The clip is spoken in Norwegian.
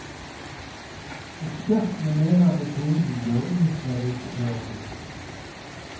Ekspertene mener metoden bør utredes før bruk.